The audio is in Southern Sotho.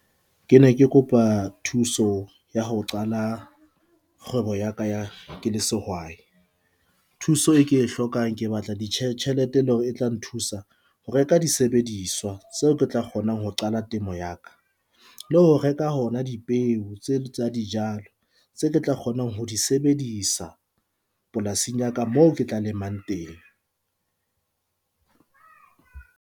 Ke ne ke kopa thuso ya ho qala kgwebo ya ka ya ke le sehwai. Thuso e ke e hlokang, ke batla di tjhelete, e leng hore e tla nthusa ho reka di sebediswa. Tseo ke tla kgonang ho qala temo ya ka. Le ho reka hona dipeo tse tsa dijalo tse ke tla kgonang ho di sebedisa polasing ya ka moo ke tla lemang teng .